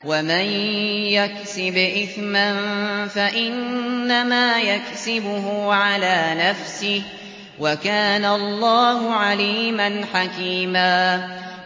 وَمَن يَكْسِبْ إِثْمًا فَإِنَّمَا يَكْسِبُهُ عَلَىٰ نَفْسِهِ ۚ وَكَانَ اللَّهُ عَلِيمًا حَكِيمًا